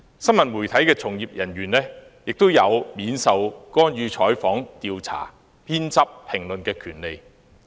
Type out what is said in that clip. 新聞媒體從業人員亦有免受干預採訪、調查、編輯及評論的權利。